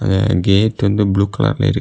ம் கேட் வந்து blue colour ல இருக்கு.